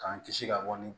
K'an kisi ka wari